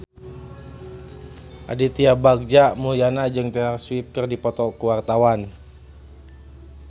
Aditya Bagja Mulyana jeung Taylor Swift keur dipoto ku wartawan